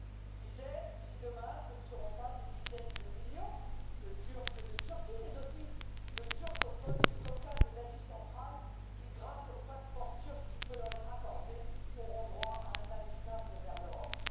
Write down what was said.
Qui sait si, demain, ce ne seront pas des dizaines de millions de Turcs de Turquie, mais aussi de turcophones du Caucase et d'Asie centrale, qui, grâce au passeport turc qui peut leur être accordé, auront droit à un aller simple vers l'Europe.